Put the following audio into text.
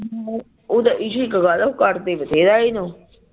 ਉਦਾ ਇਸ਼ੀ ਇਕ ਗੱਲ ਆ ਉਹ ਕਰਦੇ ਬਥੇਰਾ ਇਸਨੂੰ